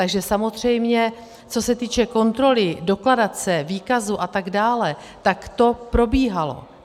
Takže samozřejmě co se týče kontroly dokladace, výkazu a tak dále, tak to probíhalo.